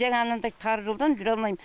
жаңа анандай тар жолдан жүре алмайм